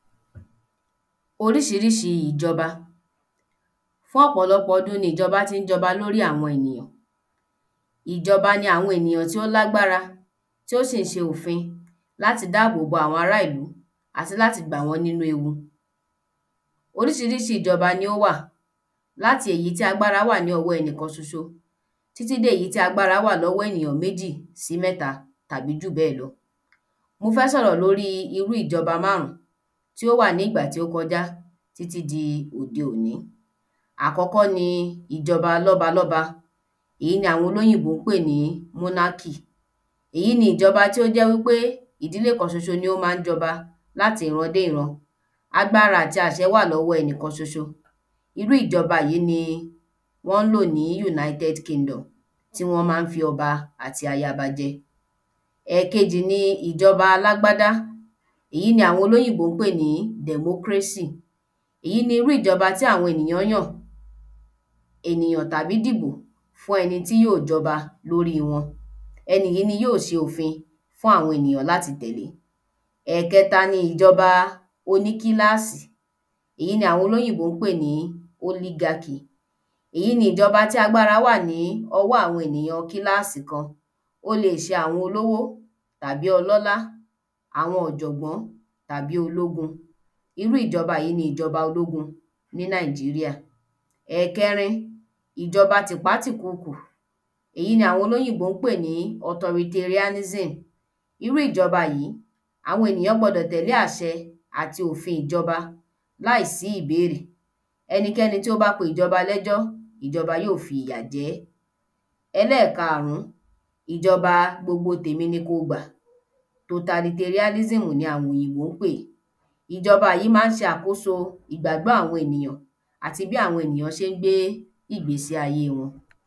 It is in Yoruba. oríṣiríṣi ìjọba. Fún ọ̀pọ̀lọpọ̀ ọdún ni ìjọba ti ń jọba lóri àwọn èyàn ìjọba ni àwọn ènìyàn tí ó lágbára tí ó sì ṣe òfin láti lè dáàbò bo àwọn ara ìlú àti láti gbà wọ́n nínu ewu oríṣiríṣi ìjọba ní o wà láti èyí tí agbára wà lọ́wọ ẹnìkan ṣoṣo, títí dé èyí tí agbára wà lọ́wọ èyàn méjì sí mẹ́ta, tàbí jù bẹ́ẹ̀ lọ Mo fẹ́ sọ̀rọ̀ lóri iru ìjọba máàrún tí ó wà ní ìgbà tí ó kọjá títí di òde òní àkọ́kọ́ ni ìjọba lọ́balọ́ba, èyí ni àwọn olóyìnbó pè ní monarchy, èyí ni ìjọba tí ó jẹ́ wípé ìdílé kan sọṣo ni ó ma ń jọba láti ìran dé ìran, agbára wà lọ́wọ ẹnìkan ṣoṣo, irú ìjọba yìí ni wọ́n ń lò ní United Kingdom tí wọ́n ma ń fi ọba àti ayaọba jẹ ẹ̀kejì ni ìjọba alágbádá, èyí ni àwọn olóyìnbó pè ní democracy èyí ni irú ìjọba tí àwọn ènìyàn yàn ènìyàn tàbí dìbò fún ẹni tí yóò jọba lóri wọn. ẹni yìí ni yóò ṣe òfin fún àwọn ènìyàn láti tẹ̀lẹ́ ẹ̀kẹta ni ìjọba oní kílààsì, èyí ni àwọn olóyìnbó pè ní oligarchy, èyí ni ìjọba tí agbára wà ní ọwọ́ àwọn ènìyàn kílààsì kan ó lè ṣe àwọn olówó tàbí ọlọ́lá, àwọn ọ̀jọ̀gbọ́n tàbí ológun, irú ìjọba yìí ni ìjọba ológun ní Nigeria. ẹ̀kẹrin ìjọba tipátìkúùkú, èyí ni àwọn olóyìnbó pè ní authoritarianism, irú ìjọba yìí, àwọn ènìyàn gbọ́dọ̀ tẹ̀lé àṣẹ àti òfin ìjọba, láì sí ìbéèrè, ẹnikẹ́ni tí ó bá pé ìjọba lẹ́jọ́, ìjọba yóò fi ìyà jẹ ẹ́ ẹlẹ́karùn, ìjọba gbogbo tèmi ni kí o gbà, totalitarianism ni àwọn òyìnbó ń pè é, ìjọba yìí ma ń ṣe àkóso ìgbàgbọ́ àwọn ènìyàn àti bí àwọn ènìyàn ṣe ń gbé ìgbésí ayé wọn